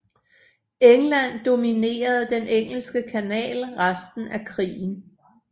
England dominerede Den Engelske Kanal resten af krigen